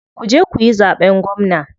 Kuje kuyi zaɓen gwamna.